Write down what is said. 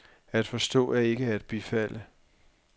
At forstå er ikke at bifalde.